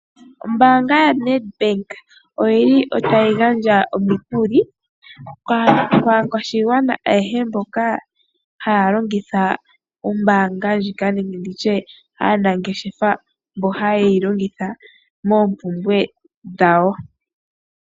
Ombaanga yo Nedbank oyili tayi gandja omikuli kaakwashigwana ayehe mboka haya longitha ombaanga ndjika, nenge nditye aanangeshefa mboka haye yi longitha moompumbwe dhawo.